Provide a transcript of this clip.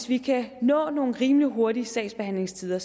vi kan nå nogle rimelig hurtige sagsbehandlingstider